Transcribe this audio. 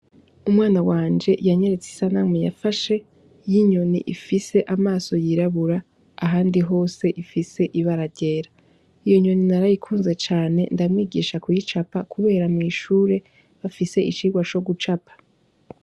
Umwana wanje yanyeretse isanamu yafashe y’inyoni ifise amaso yirabura ahandi hose ifise ibara ryera, iyo nyoni narayikunze cane ndamwigisha kuy'icapa, kubera mw'ishure bafise icirwa co gucapa.